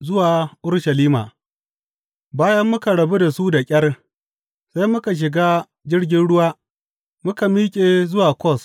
Zuwa Urushalima Bayan muka rabu da su da ƙyar, sai muka shiga jirgin ruwa, muka miƙe zuwa Kos.